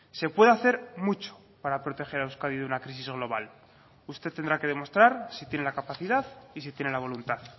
se puede hacer mucho para proteger a euskadi de una crisis global usted tendrá que demostrar si tiene la capacidad y si tiene la voluntad